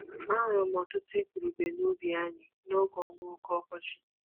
Ahụrụ m ọtụtụ igurube n'ubi anyị n'oge ọnwa oke ọkọchị.